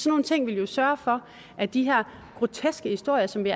nogle ting ville jo sørge for at de her groteske historier som vi